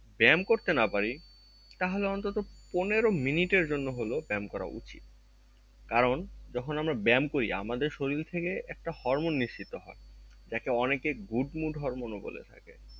ব্যায়াম করতে না পারি তাহলে অন্তত পনেরো minute এর জন্যও হলেও ব্যায়াম করা উচিত, কারণ যখন আমরা ব্যায়াম করি আমাদের শরীর থেকে একটা hormone নিঃসৃত হয় যাকে অনেকে good mood hormone ও বলে থাকে